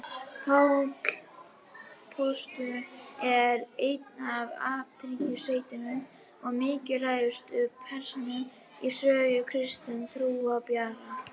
Páll postuli er ein af athyglisverðustu og mikilvægustu persónum í sögu kristinna trúarbragða.